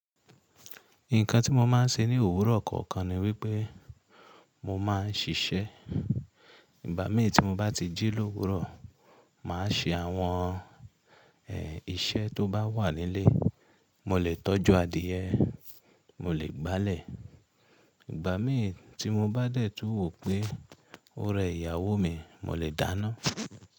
Nǹkan tí mo máa ń ṣe ní òwúrọ̀ kọ̀ọ̀kan ni wípé mo máa ń ṣiṣẹ́. Ìgbà mí tí mo bá ti jí lówúrọ̀, mà á ṣe àwọn ẹ, iṣẹ́ tó bá wà nílé. Mo lè tọ́jú adìẹ, mo lè gbálẹ̀. Ìgbà mí tí mo bá dẹ̀ tún wò pé ó rẹ ìyàwó mi, mo lè dáná.